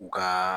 U ka